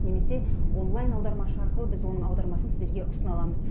немесе онлайн аудармашы арқылы біз оның аудармасын сіздерге ұсына аламыз